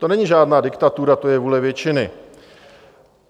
To není žádná diktatura, to je vůle většiny.